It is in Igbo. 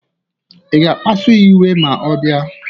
Ị ga-akpasu ya iwe ma ọ bịa?